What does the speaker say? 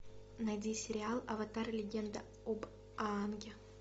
найди сериал аватар легенда об аанге